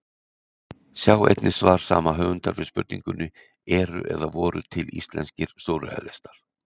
Sjá einnig svar sama höfundar við spurningunni Eru eða voru til íslenskir súrrealistar?